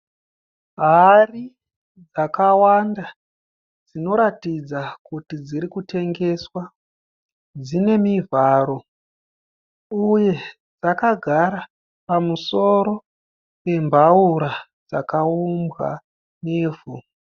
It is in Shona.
Hari dzakawanda dzinoratidza kuti dzirikutengeswa. Dzine mivharo uye dzakagara pamusoro pembaura dzakaumbwa nevhu.